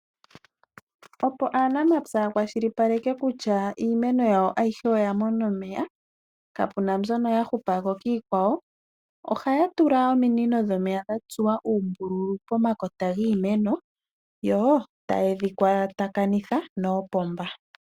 Opo aanamapya yakwashilipaleke kutya iimeno yawo ayihe oya mona omeya, kapu na mbyono ya hupa ko kiikwawo ohaya tula ominino dhomeya dha tsuwa uumbululu pomakota giimeno yo taye dhi kwatakanitha noopomba.